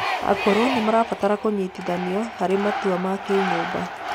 Akũrũ nimarabatara kũnyitithanio harĩ matua na kinyũmba